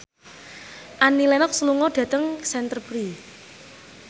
Annie Lenox lunga dhateng Canterbury